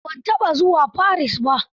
A'a ban taɓa zuwa Paris ba.